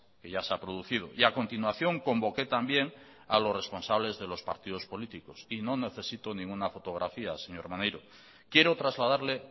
que ya se ha producido y a continuación convoqué también a los responsables de los partidos políticos y no necesito ninguna fotografía señor maneiro quiero trasladarle